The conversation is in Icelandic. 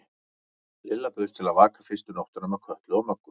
Lilla bauðst til að vaka fyrstu nóttina með Kötu og Möggu.